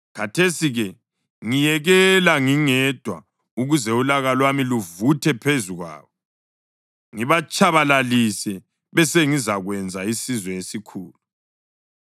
Khathesi-ke ngiyekela ngingedwa ukuze ulaka lwami luvuthe phezu kwabo, ngibatshabalalise. Besengizakwenza isizwe esikhulu.”